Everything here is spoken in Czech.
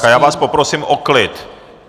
Tak a já vás poprosím o klid!